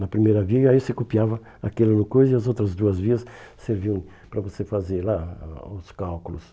Na primeira via, e aí você copiava aquela coisa e as outras duas vias serviam para você fazer lá a os cálculos.